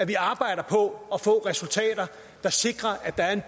vi arbejder på at få resultater der sikrer at der er en